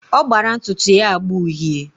Ọ gbara ntụtụ ya agba uhie.